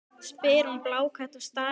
spyr hún blákalt og starir á hann.